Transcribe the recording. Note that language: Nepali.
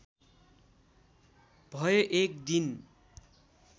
भए एक दिन